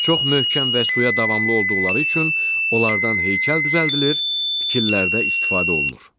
Çox möhkəm və suya davamlı olduqları üçün onlardan heykəl düzəldilir, tikililərdə istifadə olunur.